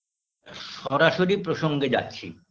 সরাসরি প্রসঙ্গে যাচ্ছি